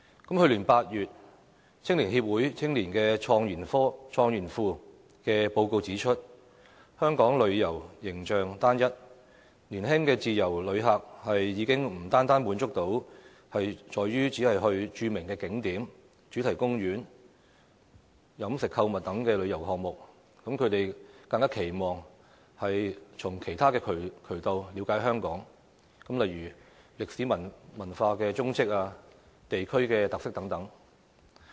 去年8月，香港青年協會青年創研庫的報告指出，香港旅遊形象單一，年輕自由旅客已不單滿足於著名景點、主題公園、飲食購物等旅遊項目，更期望從其他渠道了解香港，例如歷史文化蹤跡、地區特色等。